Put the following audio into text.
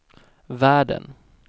världen